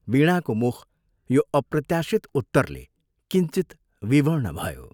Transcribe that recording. वीणाको मुख यो अप्रत्याशित उत्तरले किञ्चित विवर्ण भयो।